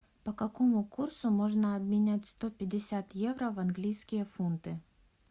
по какому курсу можно обменять сто пятьдесят евро в английские фунты